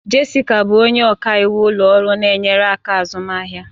Jessica bụ onye ọka iwu ụlọ ọrụ na-enyere aka azụmaahịa